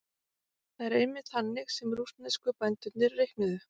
Það er einmitt þannig sem rússnesku bændurnir reiknuðu.